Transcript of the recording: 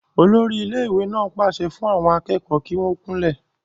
olórí ilé ìwé náà pàṣẹ fún àwọn akẹ́kọ̀ọ́ kí wọ́n kúnlẹ̀